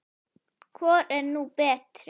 Hvor er nú betri?